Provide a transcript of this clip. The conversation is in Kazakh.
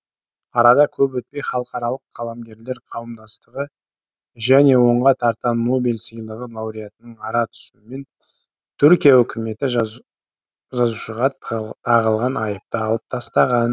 арада көп өтпей халықаралық қаламгерлер қауымдастығы және онға тарта нобель сыйлығы лауреатының ара түсуімен түркия үкіметі жазушыға тағылған айыпты алып тастаған